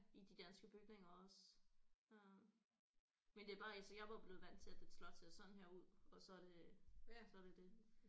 I de danske bygninger også øh men det er bare altså jeg er bare blevet vant til et slot ser sådan her ud og så er det så er det det